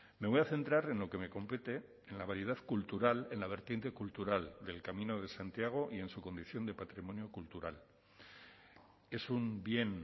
me voy a centrar en lo que me compete en la variedad cultural en la vertiente cultural del camino de santiago y en su condición de patrimonio cultural es un bien